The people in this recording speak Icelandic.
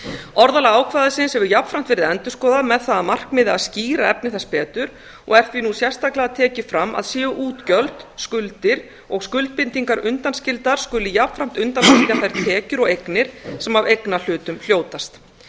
orðalag ákvæðisins hefur jafnframt verið endurskoðað með það að markmiði að skýra efni þess betur og er því nú sérstaklega tekið fram að séu útgjöld skuldir og skuldbindingar undanskildar skuli jafnframt undanskilja þær tekjur og eignir sem af eignarhlutum hljótast